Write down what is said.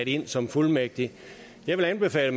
ind som fuldmægtig jeg vil anbefale